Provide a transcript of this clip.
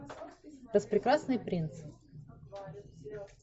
распрекрасный принц